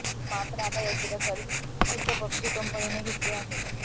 मात्र आता याची दखल खुद्द पबजी कंपनीने घेतली आहे